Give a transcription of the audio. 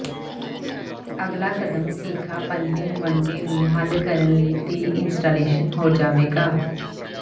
ਅਗਲਾ ਕਦਮ ਸੀਖਾ ਪਲੰਬਿੰਗ ਵਨਡੇ ਨੂੰ ਹੱਲ ਕਰਨ ਲਈ ਦੀ ਇੰਸਟਾਲੇਸ਼ਨ ਹੋ ਜਾਵੇਗਾ